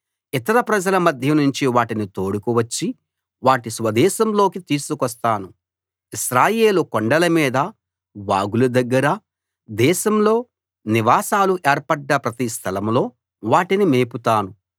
ఇతర ప్రజల మధ్యనుంచి వాటిని తోడుకు వచ్చి వాటి స్వదేశంలోకి తీసుకొస్తాను ఇశ్రాయేలు కొండల మీద వాగుల దగ్గర దేశంలో నివాసాలు ఏర్పడ్డ ప్రతి స్థలంలో వాటిని మేపుతాను